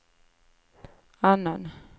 annan